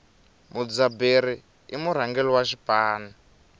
mudzaberi i murhangeri wa xipano